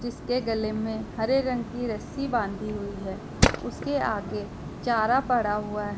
जिसके गले में हरे रंग की रस्सी बांधी हुई है उसके आगे चारा पड़ा हुआ है।